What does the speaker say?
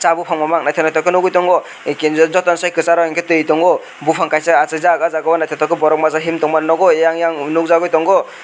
oh buphang mamang naithok naithok khe nuguitongo eh kinto jotoni sei kwcharo hinkhe tui tongo buphang kaisa achaijak oh jagao naithotok borok masa himtongmani nogo yang yang nukjagui tongo.